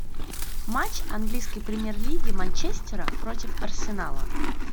матч английской премьер лиги манчестера против арсенала